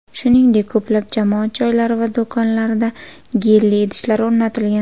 Shuningdek, ko‘plab jamoat joylari va do‘konlarda gelli idishlar o‘rnatilgan.